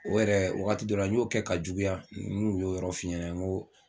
O yɛrɛ wagati dɔ la n y'o kɛ ka juguya n kun y'o yɔrɔ f'i ɲɛna n ko